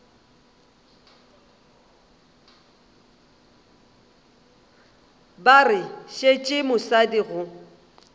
ba re tšeetše mosadi go